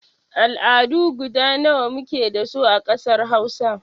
Al'adu guda nawa muke dasu a ƙasar Hausa?